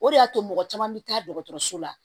O de y'a to mɔgɔ caman bɛ taa dɔgɔtɔrɔso la